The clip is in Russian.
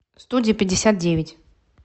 студия пятьдесят девять